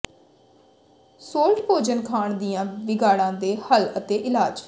salt ਭੋਜਨ ਖਾਣ ਦੀਆਂ ਵਿਗਾੜਾਂ ਦੇ ਹੱਲ ਅਤੇ ਇਲਾਜ